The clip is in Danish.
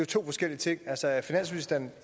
to forskellige ting altså er finansministeren